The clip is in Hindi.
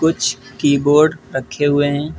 कुछ कीबोर्ड रखे हुए हैं।